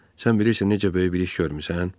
Sən bilirsən necə böyük bir iş görmüsən?